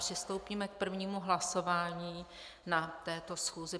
Přistoupíme k prvnímu hlasování na této schůzi.